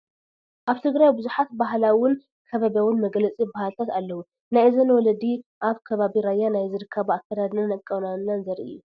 ኣብ ትግራይ ብዙሓት ባህይላውን ከባብያውን መግለፂ ባህልታት ኣለው፡፡ ናይ እዘን ወለዲ ኣብ ከባቢ ራያ ናይ ዝርከባ ኣከዳድናን ኣቋንናን ዘርኢ እዩ፡፡